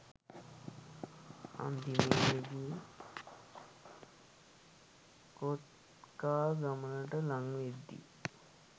අන්තිමේදි කෝත්කා ගමට ලං වෙද්දි